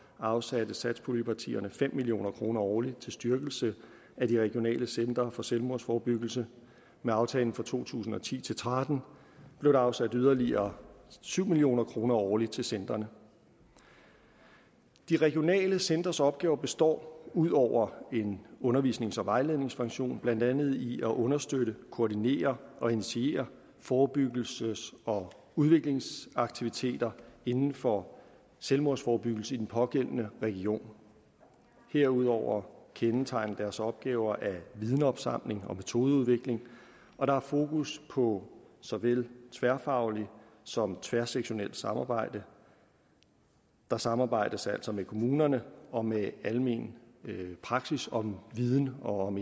afsatte satspuljepartierne fem million kroner årligt til styrkelse af de regionale centre for selvmordsforebyggelse med aftalen for to tusind og ti til tretten blev der afsat yderligere syv million kroner årligt til centrene de regionale centres opgaver består ud over en undervisnings og vejledningsfunktion blandt andet i at understøtte koordinere og initiere forebyggelses og udviklingsaktiviteter inden for selvmordsforebyggelse i den pågældende region herudover kendetegnes deres opgaver af vidensopsamling og metodeudvikling og der er fokus på så vel tværfagligt som tværsektorielt samarbejde der samarbejdes altså med kommunerne og med almen praksis om viden og om